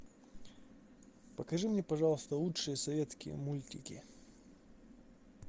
покажи мне пожалуйста лучшие советские мультики